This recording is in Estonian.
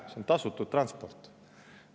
See on tasutud transport.